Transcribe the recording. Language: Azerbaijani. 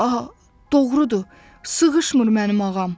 Doğrudur, sığışmır mənim ağam.